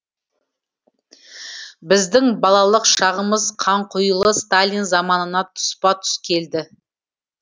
біздің балалық шағымыз қанқұйлы сталин заманына тұспа тұс келді